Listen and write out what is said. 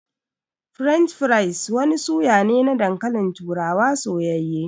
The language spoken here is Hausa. "French fries" wani suna ne na dankalin turawa soyayye.